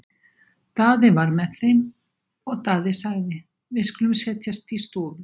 Daði var með þeim og Daði sagði:-Við skulum setjast í stofu.